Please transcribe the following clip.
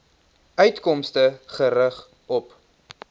uitkomste gerig op